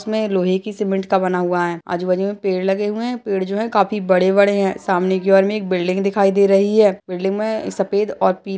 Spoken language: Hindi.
इसमे लोहे की सिमेन्ट का बना हुआ है आजूबाजू मे पेड़ लगे हुए हैं पेड़ जो हैं काफी बड़े बड़े हैं सामने की ओर मे एक बिल्डिंग दिखाई दे रही है बिल्डिंग मे सफेद और पीले --